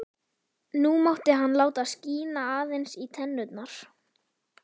Nú mátti hann láta skína aðeins í tennurnar.